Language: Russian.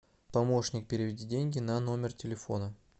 помощник переведи деньги на номер телефона